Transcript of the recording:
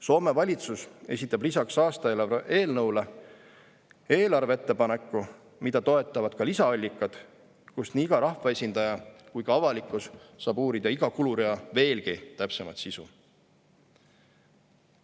Soome valitsus esitab lisaks aastaeelarve eelnõule eelarveettepaneku, mida toetavad ka lisaallikad, kust nii iga rahvaesindaja kui ka avalikkus saab uurida iga kulurea veelgi täpsemat sisu.